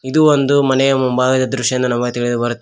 ಇದು ಒಂದು ಮನೆಯ ಮುಂಭಾಗದ ದೃಶ್ಯ ಎಂದು ನಮಗೆ ತಿಳಿದು ಬರುತ್ತದೆ.